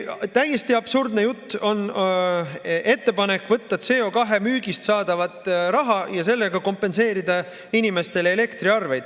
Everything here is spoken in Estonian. Täiesti absurdne on ettepanek võtta CO2 müügist saadav raha ja sellega kompenseerida inimestele elektri hinda.